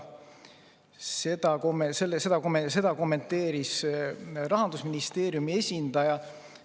Seda kommenteeris Rahandusministeeriumi esindaja.